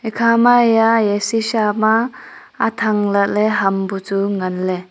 ekhama eya eya shisha ma athang lahley ham buchu nganley.